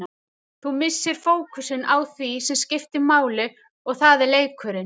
Þú missir fókusinn á því sem skiptir máli og það er leikurinn.